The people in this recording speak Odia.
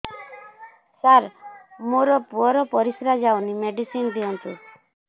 ସାର ମୋର ପୁଅର ପରିସ୍ରା ଯାଉନି ମେଡିସିନ ଦିଅନ୍ତୁ